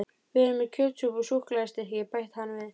Við erum með kjötsúpu og súkkulaðistykki, bætti hann við.